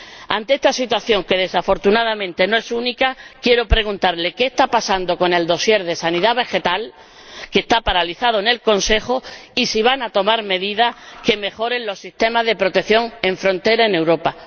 Ante esta situación, que desafortunadamente no es única, quiero preguntarle qué está pasando con el dossier de sanidad vegetal, que está paralizado en el Consejo, y si van a tomar medidas que mejoren los sistemas de protección en frontera en Europa.